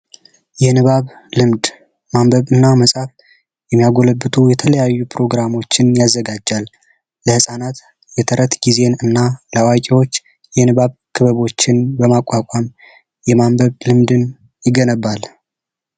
የንባብ ልምድ ማንበብና የተለያዩ ፕሮግራሞችን ያዘጋጃል ለህፃናት የተረት ጊዜዎች የንባብ ክበቦችን በማቋቋም የማንበብ ልምድን ይገነባል